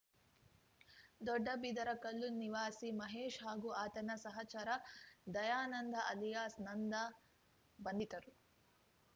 ದೊಡ್ಡಬಿದರಕಲ್ಲು ನಿವಾಸಿ ಮಹೇಶ್‌ ಹಾಗೂ ಆತನ ಸಹಚರ ದಯಾನಂದ್‌ ಅಲಿಯಾಸ್‌ ನಂದ ಬಂಧಿತರು